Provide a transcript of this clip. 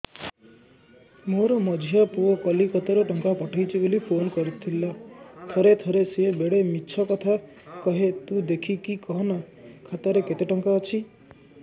ମୋର ମଝିଆ ପୁଅ କୋଲକତା ରୁ ଟଙ୍କା ପଠେଇଚି ବୁଲି ଫୁନ କରିଥିଲା ଥରେ ଥରେ ସିଏ ବେଡେ ମିଛ କଥା କୁହେ ତୁଇ ଦେଖିକି କହନା ଖାତାରେ କେତ ଟଙ୍କା ଅଛି